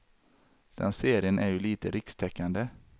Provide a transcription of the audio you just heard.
Den serien är ju lite rikstäckande.